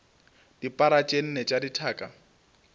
dipara tše nne tša dithaka